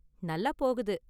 நல்லா போகுது.